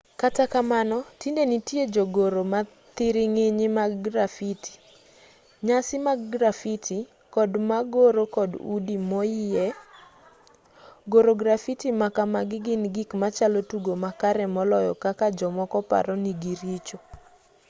kata kamano tinde nitie jogoro mathiring'inyi mag grafiti nyasi mag grafiti kod magoro kor udi moyie goro grafiti makamagi gin gik machalo tugo makare moloyo kaka jomoko paro nigiricho